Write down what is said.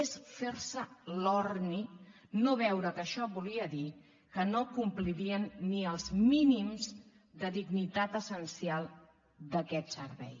és fer l’orni no veure que això volia dir que no complirien ni els mínims de dignitat essencial d’aquest servei